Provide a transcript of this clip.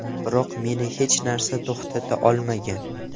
Biroq meni hech narsa to‘xtata olmagan.